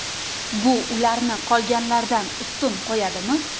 Bu ularni qolganlardan ustun qo‘yadimi?